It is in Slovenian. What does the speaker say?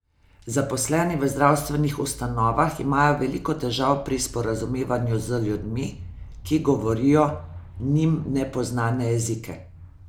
Zaposleni v zdravstvenih ustanovah imajo veliko težav pri sporazumevanju z ljudmi, ki govorijo njim nepoznane jezike.